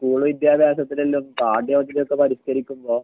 school വിദ്യാഭ്യാസത്തില് പാഠ്യപദ്ധതിയൊക്കെ പരിഷ്ക്കരിക്കുമ്പോ